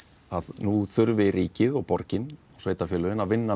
nú þurfi ríkið og borgin og sveitafélögin að vinna